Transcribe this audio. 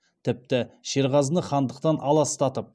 тіпті шерғазыны хандықтан аластатып